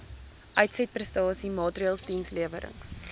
uitsetprestasie maatreëls dienslewerings